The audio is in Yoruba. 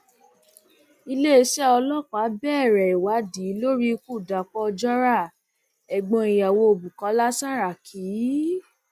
iléeṣẹ ọlọpàá bẹrẹ ìwádìí lórí ikú dapò ojora ẹgbọn ìyàwó bukola saraki